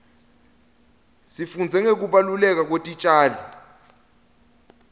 sifundza ngekubaluleka kwetitjalo